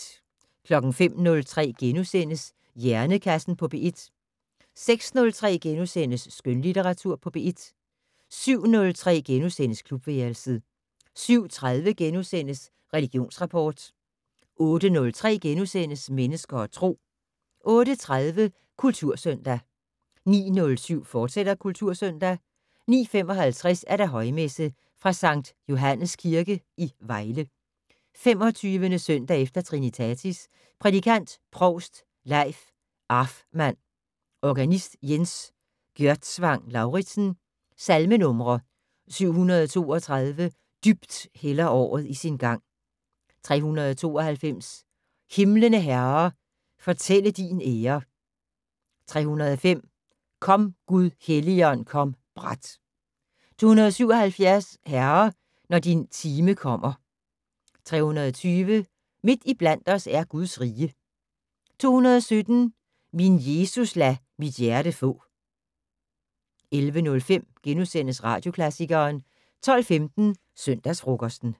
05:03: Hjernekassen på P1 * 06:03: Skønlitteratur på P1 * 07:03: Klubværelset * 07:30: Religionsrapport * 08:03: Mennesker og Tro * 08:30: Kultursøndag 09:07: Kultursøndag, fortsat 09:55: Højmesse - fra Skt. Johannes Kirke, Vejle. 25. søndag efter trinitatis. Prædikant: Provst Leif Arfmann. Organist: Jens Gjørtsvang Lauridsen. Salmenumre: 732: "Dybt hælder året i sin gang". 392: "Himlene Herre, fortælle din ære". 305: "Kom Gud Helligånd kom brat". 277: "Herre, når din time kommer". 320: "Midt iblandt os er Guds rige". 217: "Min Jesus lad mit hjerte få". 11:05: Radioklassikeren * 12:15: Søndagsfrokosten